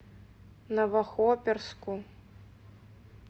новохоперску